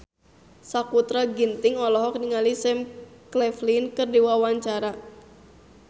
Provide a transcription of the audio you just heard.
Sakutra Ginting olohok ningali Sam Claflin keur diwawancara